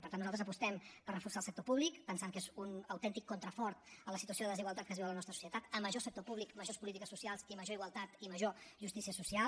per tant nosaltres apostem per reforçar el sector públic pensant que és un autèntic contrafort a la situació de desigualtat que es viu a la nostra societat com més sector públic majors polítiques socials i major igualtat i major justícia social